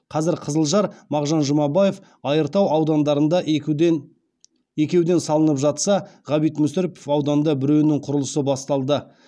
қазір қызылжар мағжан жұмабаев айыртау аудандарында екеуден салынып жатса ғабит мүсірепов ауданында біреуінің құрылысы басталды